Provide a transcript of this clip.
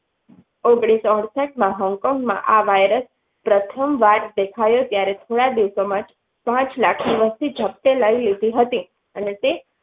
ઓગણીસો અડસતમાં Hong Kong માં આ virus પ્રથમ વાર દેખાયો ત્યારે થોડા દિવસ માં પાંચ લાખ વસ્તી અને તે